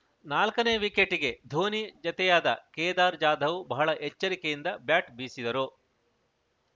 ನಾಲ್ಕನೇ ವಿಕೆಟ್‌ಗೆ ಧೋನಿ ಜತೆಯಾದ ಕೇದಾರ್‌ ಜಾಧವ್‌ ಬಹಳ ಎಚ್ಚರಿಕೆಯಿಂದ ಬ್ಯಾಟ್‌ ಬೀಸಿದರು